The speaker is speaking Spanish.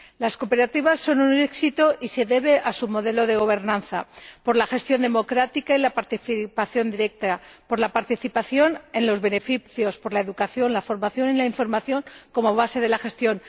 Las cooperativas son un éxito y se debe a su modelo de gobernanza por la gestión democrática y la participación directa, por la participación en los beneficios, por la educación, la formación y la información como base de la gestión